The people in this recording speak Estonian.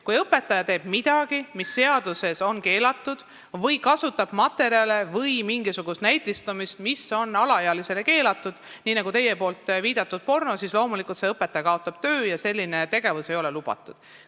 Kui õpetaja teeb midagi, mis on seadusega keelatud, või kasutab mingisugust näitematerjali, mis on alaealisele keelatud, nagu näiteks teie viidatud porno, siis loomulikult kaotab see õpetaja töö – selline tegevus ei ole koolis lubatud.